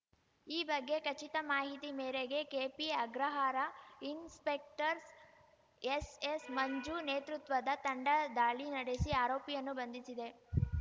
ಈ ಬಗ್ಗೆ ಖಚಿತ ಮಾಹಿತಿ ಮೇರೆಗೆ ಕೆಪಿಅಗ್ರಹಾರ ಇನ್ಸ್‌ಪೆಕ್ಟರ್‌ ಎಸ್‌ಎಸ್‌ಮಂಜು ನೇತೃತ್ವದ ತಂಡ ದಾಳಿ ನಡೆಸಿ ಆರೋಪಿಯನ್ನು ಬಂಧಿಸಿದೆ